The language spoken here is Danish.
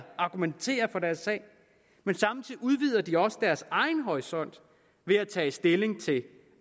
argumentere for deres sag men samtidig udvider de også deres egen horisont ved at tage stilling til